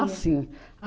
sim.